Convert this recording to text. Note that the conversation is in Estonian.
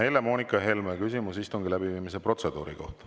Helle-Moonika Helme, küsimus istungi läbiviimise protseduuri kohta.